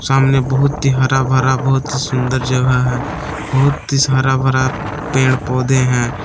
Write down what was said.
सामने बहुत ही हरा भरा बहुत ही सुंदर जगह है बहुत सी हरा भरा पेड़ पौधे हैं।